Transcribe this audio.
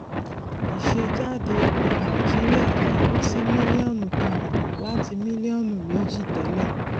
ìsejáde epo nàìjíríà takú sí mílíọnù kan àbọ láti mílíọnù méjì tẹlẹ